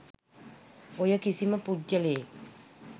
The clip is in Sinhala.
ඔය කිසිම පුද්ගලයෙක්